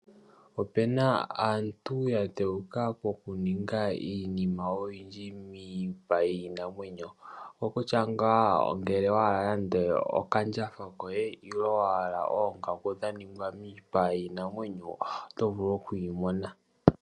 Opuna aantu ya dhewuka oku ninga iinima oyindji miipa yiinamwenyo. Oko kutya ngaa ngele owa hala nande okandjatha koye, nenge wa hala oongaku dha ningwa miipa yiinamwenyo, oto vulu oku yi mona.